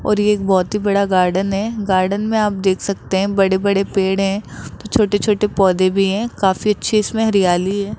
और एक बहुत ही बड़ा गार्डन है गार्डन में आप देख सकते हैं बड़े बड़े पेड़ हैं तो छोटे छोटे पौधे भी हैं काफी अच्छी इसमें हरियाली है।